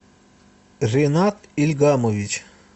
ринат ильгамович